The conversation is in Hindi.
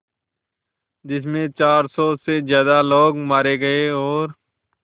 जिस में चार सौ से ज़्यादा लोग मारे गए और